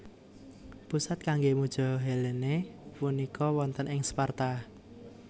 Pusat kanggé muja Helene punika wonten ing Sparta